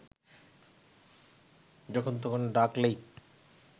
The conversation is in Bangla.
যখন তখন ডাকলেই